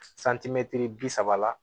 santimɛtiri bi saba la